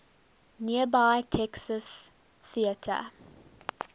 nearby texas theater